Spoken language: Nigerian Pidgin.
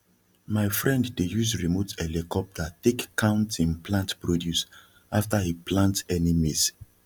my friend dey use remote helicopter take count him plant produce after e plant any maize